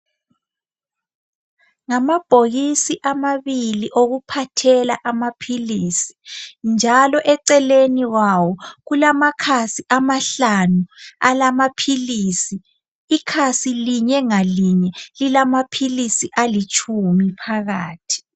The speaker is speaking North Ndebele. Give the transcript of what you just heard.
Ngamabhokisi amabili okuphathela amaphilisi njalo eceleni kwawo kulamakhasi amahlanu alamaphilisi. Ikhasi linye ngalinye lilamaphilisi alitshumi phakathi.